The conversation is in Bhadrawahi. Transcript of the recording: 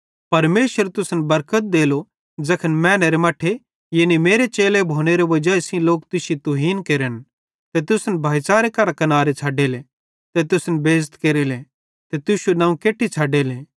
परमेशर तुसन बरकत देलो ज़ैखन मैनेरे मट्ठेरे यानी मेरे चेलो भोनेरे वाजाई सेइं लोक तुश्शी तुहीन केरन ते तुसन भाईच़ारे करां कनारे छ़डेले ते तुश्शी बेइज़ती केरेले ते तुश्शू नवं केट्टी छ़डेले